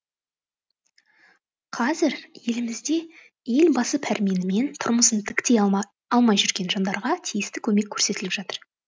қазір елімізде елбасы пәрменімен тұрмысын тіктей алмай жүрген жандарға тиісті көмек көрсетіліп жатыр